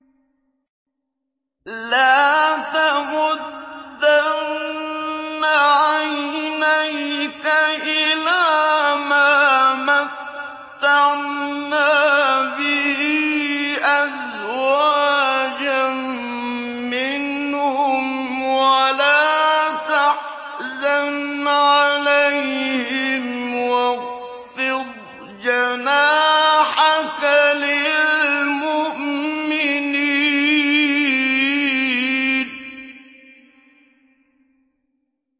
لَا تَمُدَّنَّ عَيْنَيْكَ إِلَىٰ مَا مَتَّعْنَا بِهِ أَزْوَاجًا مِّنْهُمْ وَلَا تَحْزَنْ عَلَيْهِمْ وَاخْفِضْ جَنَاحَكَ لِلْمُؤْمِنِينَ